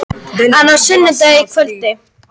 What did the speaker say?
Flýtti dauða föður síns